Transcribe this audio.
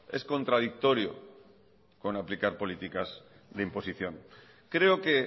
es contradictorio con aplicar políticas de imposición creo que